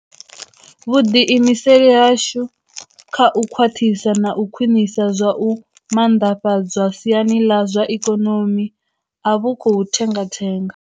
Vhu ḓiimiseli hashu kha u khwaṱhisa na u khwiṋisa zwa u maanḓafhadzwa siani ḽa zwa ikonomi a vhu khou thengathenga.